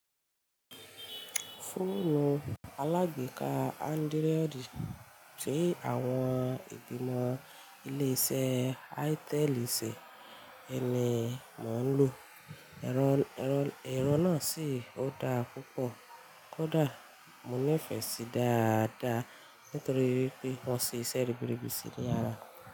Fóònù alágbèéká Android ṣe àwọn ìgbìmọ̀ ilé iṣẹ́ ítẹ́l ṣẹ́ ẹyi ni mò ń lò. Ẹ̀rọ náà sì ó dá púpọ̀ kódà mo nífẹ̀ẹ́ sí dáadáa nítorí wípé wọ́n sìṣe ribiribi sí i ní ara rẹ̀